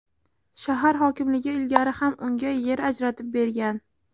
Shahar hokimligi ilgari ham unga yer ajratib bergan.